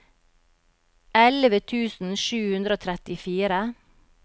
elleve tusen sju hundre og trettifire